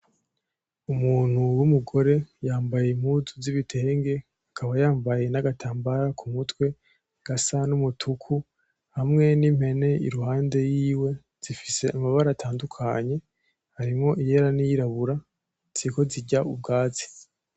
Umuntu w'umugore yambaye impuzu z'ibitenge akaba yambaye n'agatambara ku mutwe gasa n'umutuku hamwe n'impene iruhande yiwe zifise amabara atandukanye harimwo iyera n'iyirabura ziriko zirya ubwatsi.